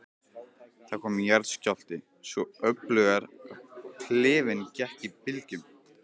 Það kom jarðskjálfti, svo öflugur að klefinn gekk í bylgjum.